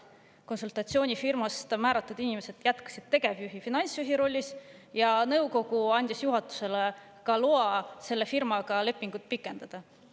Konsultatsioonifirmast määratud inimesed jätkasid tegevjuhi ja finantsjuhi rollis ning nõukogu andis juhatusele ka loa selle firmaga lepingut pikendada.